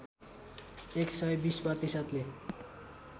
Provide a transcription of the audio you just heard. १सय २० प्रतिशतले